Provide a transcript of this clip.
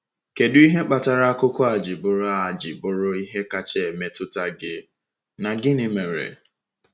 Kedu ihe kpatara akụkọ a ji bụrụ a ji bụrụ ihe kacha emetụta gị, na gịnị mere?